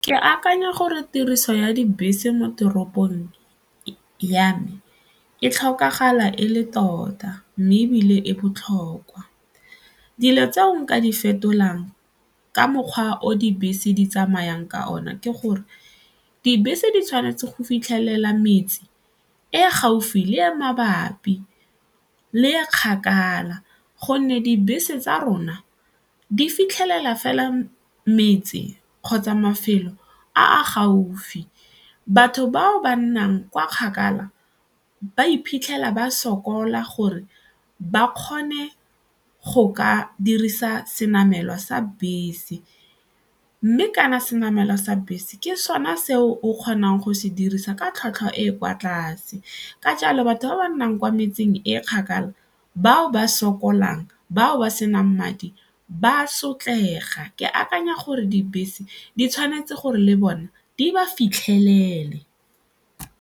Ke akanya gore tiriso ya dibese mo toropong ya me e tlhokagala e le tota mme ebile e botlhokwa. Dilo tseo nka di fetolang ka mokgwa o dibese di tsamayang ka one ke gore dibese di tshwanetse go fitlhelela metse e gaufi le e mabapi le e kgakala gonne dibese tsa rona di fitlhelela fela metse kgotsa mafelo a a gaufi. Batho bao ba nnang kwa kgakala ba iphitlhela ba sokola gore ba kgone go ka dirisa senamelwa sa bese mme kana se namelwa sa bese ke sone seo o kgonang go se dirisa ka tlhwatlhwa e e kwa tlase ka jalo batho ba ba nnang kwa metseng e kgakala bao ba sokolang, bao ba senang madi ba sotlega, ke akanya gore dibese di tshwanetse gore le bona di ba fitlhelele.